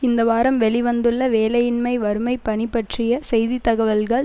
இந்த வாரம் வெளி வந்துள்ள வேலையின்மை வறுமை பணி பற்றிய செய்தி தகவல்கள்